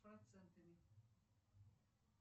процентами